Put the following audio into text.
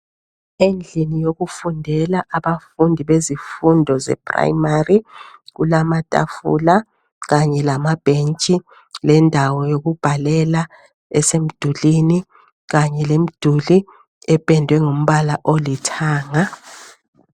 Endlini yokufundela abafundi bezifundo ze primary .Kulamatafula kanye lamabhentshi lendawo yokubhalela esemdulini . Kanye lemduli ependwe ngombala olithanga .